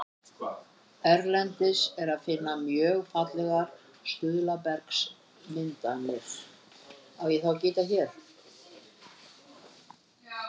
Erlendis er að finna mjög fallegar stuðlabergsmyndanir.